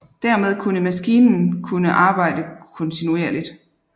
Dermed kunne maskinen kunne arbejde kontinuerligt